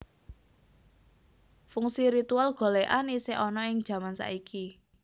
Fungsi ritual golèkan isih ana ing jaman iki